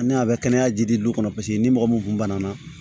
Ani a bɛ kɛnɛya jidi kɔnɔ paseke ni mɔgɔ min kun banana